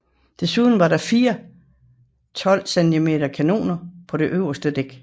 Desuden var der fire 12 cm kanoner på det øverste dæk